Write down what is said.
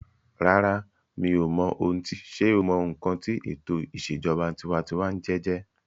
Rárá, mi ò mọ ohun tí sé o mọ ǹkan tí ètò ìṣèjọba tinwatinwa jẹjẹ́